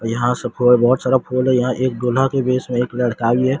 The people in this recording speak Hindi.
और यहां सब बहुत सारा फूल है और यहां दूल्हा के भेष में एक लड़का भी है।